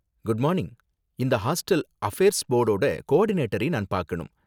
Good morning, இந்த hostel affairs போர்டோட கோ ஆர்டினேட்டரை நான் பார்க்கணும்.